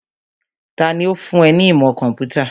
Tani ó fún ẹ ní ìmọ̀ kọ̀ḿpútà?